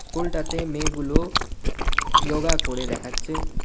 স্কুলটাতে মেয়েগুলো ইয়োগা করে দেখাচ্ছে.